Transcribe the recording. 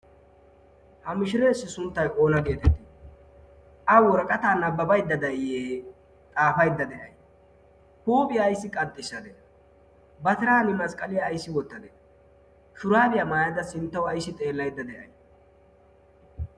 ha mishireessi sunttay oona geetettii a woraqata nabbabaydda da7iye xaafaydda de'ay huuphiyaa ayssi qaxxishshadee batiran masqqaliyaa aissi wottadee shuraabiyaa maayada sinttawu aissi xeellaedda de'ay